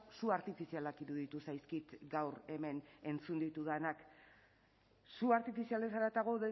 su artifizialak iruditu zaizkit gaur hemen entzun ditudanak su artifizialez haratago